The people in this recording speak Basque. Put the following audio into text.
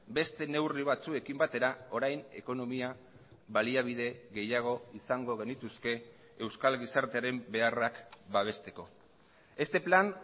beste neurri batzuekin batera orain ekonomia baliabide gehiago izango genituzke euskal gizartearen beharrak babesteko este plan